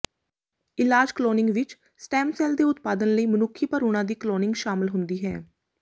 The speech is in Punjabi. ਇਲਾਜ ਕਲੋਨਿੰਗ ਵਿਚ ਸਟੈਮ ਸੈਲ ਦੇ ਉਤਪਾਦਨ ਲਈ ਮਨੁੱਖੀ ਭਰੂਣਾਂ ਦੀ ਕਲੋਨਿੰਗ ਸ਼ਾਮਲ ਹੁੰਦੀ ਹੈ